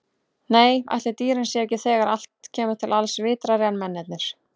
Nei, ætli dýrin séu ekki, þegar allt kemur til alls, vitrari en mennirnir.